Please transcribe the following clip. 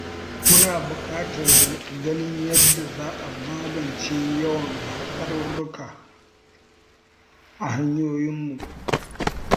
Muna buƙatar ganin yadda za a magance yawan hatsarurruka a hanyoyinmu.